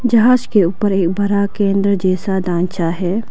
जहाज के ऊपर एक बड़ा केंद्र जैसा ढांचा है।